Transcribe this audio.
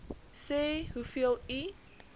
sê hoeveel u